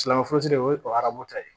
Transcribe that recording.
Silamɛ furusiri o ye ta ye